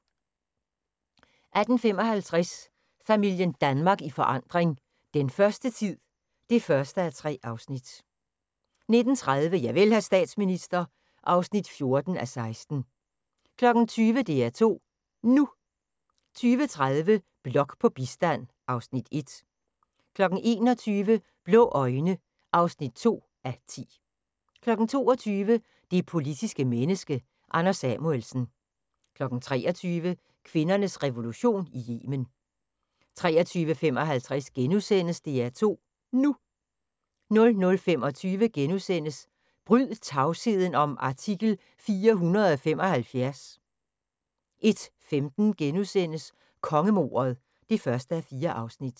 18:55: Familien Danmark i forandring – den første tid (1:3) 19:30: Javel, hr. statsminister (14:16) 20:00: DR2 NU 20:30: Blok på bistand (Afs. 1) 21:00: Blå øjne (2:10) 22:00: Det politiske menneske – Anders Samuelsen 23:00: Kvindernes revolution i Yemen 23:55: DR2 NU * 00:25: Bryd tavsheden om artikel 475! * 01:15: Kongemordet (1:4)*